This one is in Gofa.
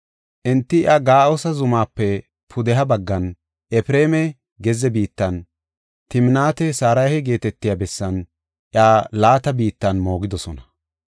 Enti iya Ga7aasa zumaape pudeha baggan, Efreema gezze biittan, Timnaat-Saraha geetetiya bessan iya laata biittan moogidosona.